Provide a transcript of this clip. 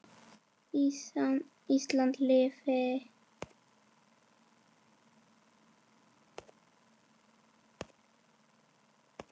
Ísland lifi.